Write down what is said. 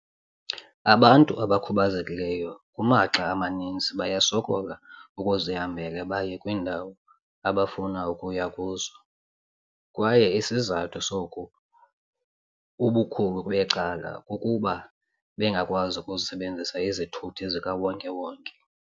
"Abantu abakhubazekileyo kumaxa amaninzi bayasokola ukuzihambela baye kwiindawo abafuna ukuya kuzo, kwaye isizathu soku ubukhulu becala kukuba bengakwazi ukusebenzisa izithuthi zika wonke-wonke.